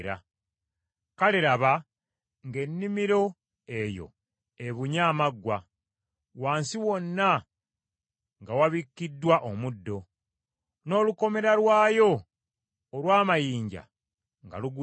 Kale laba, ng’ennimiro eyo ebunye amaggwa, wansi wonna nga wabikkiddwa omuddo, n’olukomera lwayo olw’amayinja nga lugudde.